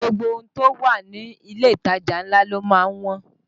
Ṣé gbogbo ohun tó wà ní ilé ìtajà ńlá ló má ń wọ́n?